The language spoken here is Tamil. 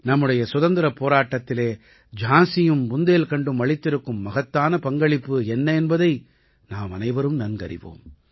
நம்முடைய சுதந்திரப் போராட்டத்திலே ஜான்சியும் புந்தேல்கண்டும் அளித்திருக்கும் மகத்தான பங்களிப்பு என்ன என்பதை நாமனைவரும் நன்கறிவோம்